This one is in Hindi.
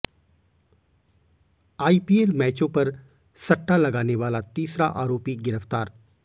आइपीएल मैचों पर सट्टा लगाने वाला तीसरा आरोपी गिरफ्तार